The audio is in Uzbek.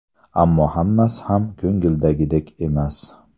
Ammo hammasi ham ko‘ngildagidek emas.